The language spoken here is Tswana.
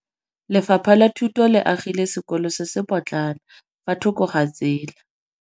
Lefapha la Thuto le agile sekôlô se se pôtlana fa thoko ga tsela.